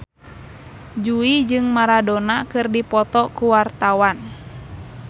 Jui jeung Maradona keur dipoto ku wartawan